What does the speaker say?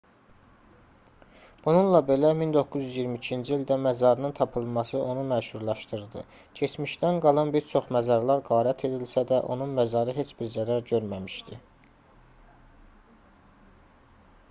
bununla belə 1922-ci ildə məzarının tapılması onu məşhurlaşdırdı keçmişdən qalan bir çox məzarlar qarət edilsə də onun məzarı heç bir zərər görməmişdi